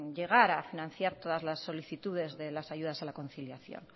llegar a financiar todas las solicitudes de las ayudas a la conciliación